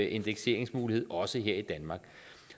indekseringsmulighed også her i danmark